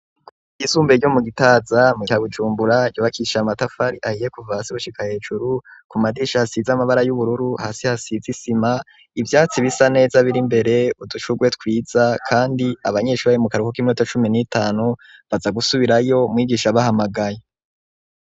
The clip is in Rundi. Iyizumbe ryo mu gitaza mu ca bujumbura ryabakisha a matafari ahiye kuvahasi gushika hejuru ku madisha hasiza amabara y'ubururu hasi hasiza isima ivyatsi bisa neza biri mbere udushurwe twiza, kandi abanyeshura ai mu karuku k'iminota cumi n'itanu baza gusubirayo mwigisha bahamagaye.